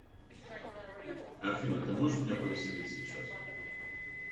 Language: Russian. афина ты можешь меня повеселить сейчас